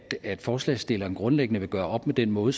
at forslagsstillerne grundlæggende vil gøre op med den måde